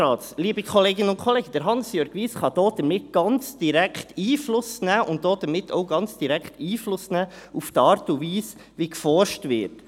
Liebe Kolleginnen und Kollegen, Hansjörg Wyss kann damit ganz direkt Einfluss nehmen und damit auch ganz direkt Einfluss auf die Art und Weise nehmen, wie geforscht wird.